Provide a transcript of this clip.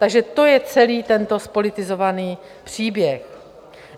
Takže to je celý tento zpolitizovaný příběh.